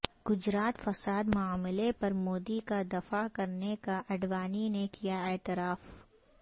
گجرات فساد معاملہ پر مودی کا دفاع کرنے کا اڈوانی نے کیا اعتراف